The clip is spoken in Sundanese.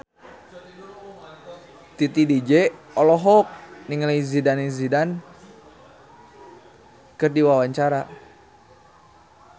Titi DJ olohok ningali Zidane Zidane keur diwawancara